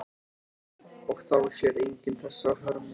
Og þá sér enginn þessa hörmung.